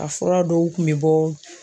A fura dɔw tun bɛ bɔ